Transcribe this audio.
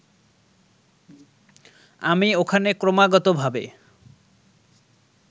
আমি ওখানে ক্রমাগতভাবে